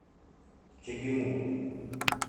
чегему